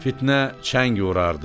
Fitnə çəng vurardı.